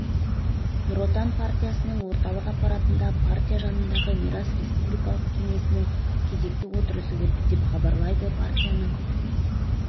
нұр отан партиясының орталық аппаратында партия жанындағы мирас республикалық кеңесінің кезекті отырысы өтті деп хабарлайды партияның